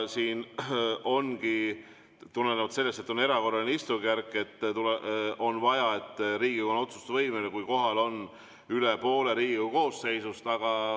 Tulenevalt sellest, et on erakorraline istungjärk, on vaja, et Riigikogu on otsustusvõimeline, kui kohal on üle poole Riigikogu koosseisust.